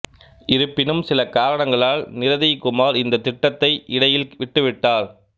இருப்பினும் சில காரணங்களால் நிரதிய்குமார் இந்த திட்டத்தை இடையில் விட்டுவிட்டார்